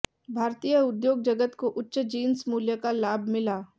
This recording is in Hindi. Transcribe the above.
भारतीय उद्योग जगत को उच्च जिंस मूल्य का लाभ मिला